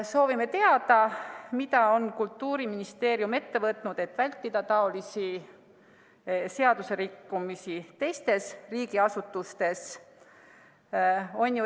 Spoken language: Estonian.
Soovime teada, mida on Kultuuriministeerium ette võtnud, et vältida niisuguseid seaduserikkumisi teistes riigiasutustes.